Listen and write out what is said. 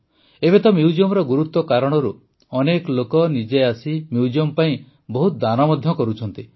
ଏବେ ତ ମ୍ୟୁଜିୟମର ଗୁରୁତ୍ୱ କାରଣରୁ ଅନେକ ଲୋକ ନିଜେ ଆସି ମ୍ୟୁଜିୟମ୍ ପାଇଁ ବହୁତ ଦାନ ମଧ୍ୟ କରୁଛନ୍ତି